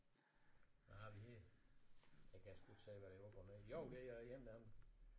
Hvad har vi her jeg kan sgu ikke se hvad der er op og ned jo det er en eller anden